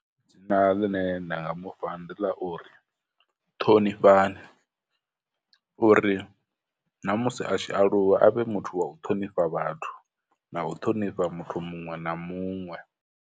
Dzina ḽine nda nga mufha ndi ḽa uri ṱhonifhana, uri na musi a tshi aluwa a vhe muthu wa u ṱhonifha vhathu, na u ṱhonifha muthu muṅwe na muṅwe.